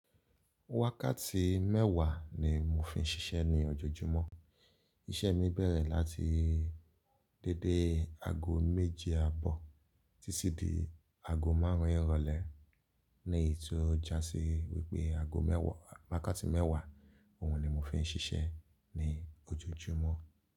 Wákàtí mẹ́wàá ni mo fi ń ṣiṣẹ́ ní ojoojúmọ́. Iṣẹ́ mi bẹ̀rẹ̀ láti dédé ago méje àbọ̀ títí di ago márùn-ún ìrọ̀lẹ́, ni èyí tó jásí wípé ago mewaa wàkátí mẹ́wàá, òhun ni mo fi ń ṣiṣẹ́ ní ojoojúmọ́.